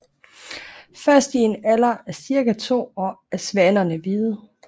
Først i en alder af cirka to år er svanerne hvide